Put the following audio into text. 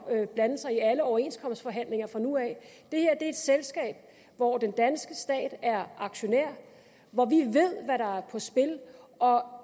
blande sig i alle overenskomstforhandlinger fra nu af det her er et selskab hvor den danske stat er aktionær og hvor vi ved hvad der er på spil og